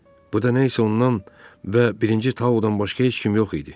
Bu da nə isə ondan və birinci Taodan başqa heç kim yox idi.